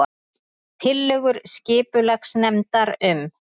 Tillögur skipulagsnefndar um